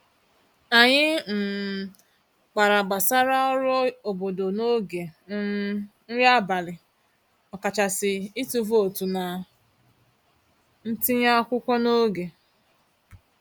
Anyị um kpara gbasara ọrụ obodo n'oge um nri abalị, ọkachasị ịtụ vootu na ntinye akwụkwọ n'oge.